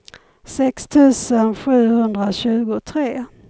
sex tusen sjuhundratjugotre